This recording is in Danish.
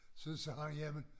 Så sagde jeg jamen